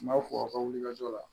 N b'a fɔ aw ka wulikajɔ la